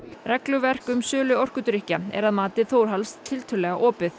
regluverk um sölu orkudrykkja er að mati Þórhalls tiltölulega opið